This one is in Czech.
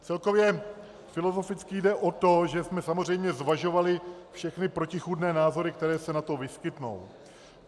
Celkově filozoficky jde o to, že jsme samozřejmě zvažovali všechny protichůdné názory, které se na to vyskytnou.